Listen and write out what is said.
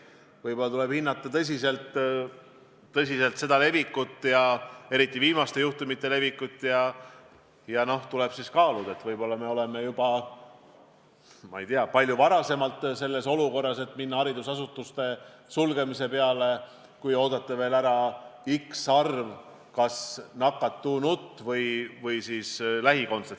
Võib-olla tuleb hinnata tõsiselt viiruse levikut, eriti viimaste juhtumitega seoses, ning kaaluda, et äkki me juba olemegi selles olukorras, et hakata haridusasutusi sulgema, kui oodata ära veel x arv nakatunut või nende lähikondset.